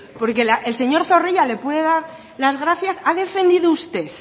porque el señor zorrilla le puede dar las gracias ha defendido usted